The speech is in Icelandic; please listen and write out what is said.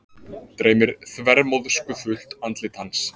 Dreymir þvermóðskufullt andlit hans.